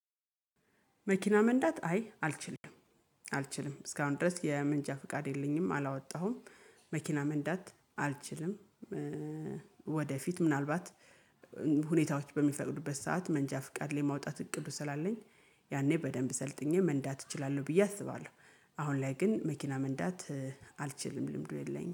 መኪና መንዳት አይ አልችልም አልችልም እስካሁን ድረስ የመንጃ ፍቃድ የለኝም አላወጣሁም መኪና መንዳት አልችልም። ወደፊት ምናልባት ሁኔታዎች በሚፈቅዱበት ሰዓት መንጃ ፍቃድ ላይ ማውጣት እቅዱ ስላለኝ ያኔ በደንብ ሰልጥኜ መንዳት እችላለሁ ብዬ አስባለሁ። አሁን ላይ ግን መኪና መንዳት አልችልም ልምዱ የለኝም